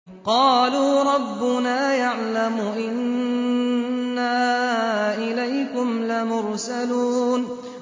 قَالُوا رَبُّنَا يَعْلَمُ إِنَّا إِلَيْكُمْ لَمُرْسَلُونَ